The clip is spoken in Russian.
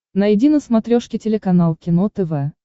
найди на смотрешке телеканал кино тв